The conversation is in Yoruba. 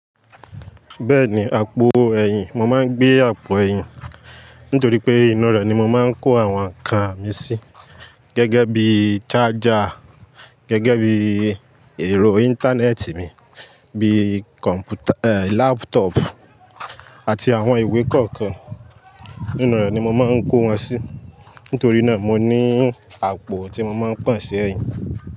Bẹ́ẹ̀ni, àpò ẹ̀yìn, mo máa ń gbé àpò ẹ̀yìn nítorí pé inú rẹ̀ ni mo máa ń kó àwọn nǹkan mi sí gẹ́gẹ́ bí í charger, gẹ́gẹ́ bí èrò Íńtánẹ́ẹ̀tì mi, bí i kọ̀m̀pútà, ẹ́, lápútọ̀ọ̀pù àti àwọn ìwé kọ̀ọ̀kan. Inú rẹ̀ ni mo máa ń kó wọn sí, nítorí náà mo ní àpò tí mo máa ń pọ̀n sí ẹ̀yìn.